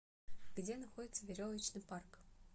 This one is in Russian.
где находится веревочный парк